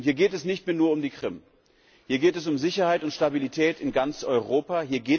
Und hier geht es nicht mehr nur um die Krim. Hier geht es um Sicherheit und Stabilität in ganz Europa.